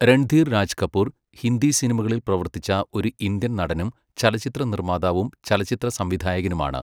രൺധീർ രാജ് കപൂർ ഹിന്ദിസിനിമകളിൽ പ്രവർത്തിച്ച ഒരു ഇന്ത്യൻ നടനും, ചലച്ചിത്ര നിർമ്മാതാവും ചലച്ചിത്ര സംവിധായകനുമാണ്.